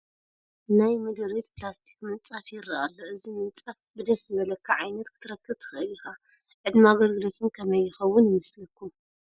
ናይ ምድሪቤት ፕላስቲክ ምንፃፍ ይርአ ኣሎ፡፡ እዚ ምንፃፍ ብደስ ዝብለካ ዓይነት ክትረክብ ትኽእል ኢኻ፡፡ ዕድመ ኣገልግሎቱ ግን ከመይ ይኸውን ይመስለኩም?